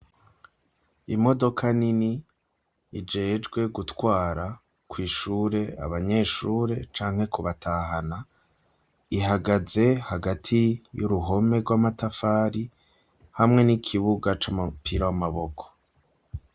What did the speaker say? Imodoka nini ijejwe gutwara kw'ishure abanyeshure canke kubatahana, ihagaze hagati y'uruhome rw'amatafari hamwe n'ikibuga c'umupira w'amaboko.